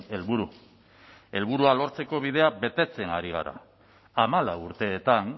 helburu helburua lortzeko bidea betetzen ari gara hamalau urteetan